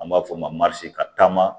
An b'a f'o ma ka taama